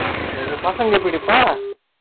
அது பசங்க Noise எப்படிப்பா ?